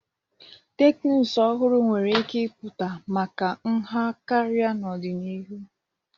Teknụzụ ọhụrụ nwere ike ịpụta maka nha karịa n'ọdịnihu.